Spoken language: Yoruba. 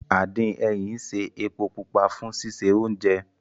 Àdín ẹyìn ń ṣe epo pupa fún sísè oúnjẹ